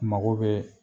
Mago bɛ